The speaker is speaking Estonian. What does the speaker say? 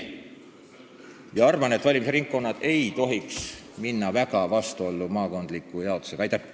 Ma arvan, et valimisringkonnad ei tohiks minna maakondliku jaotusega väga vastuollu.